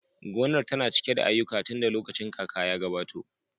Gonar tana cike da aiyuka tunda lokacin kaka ya gabato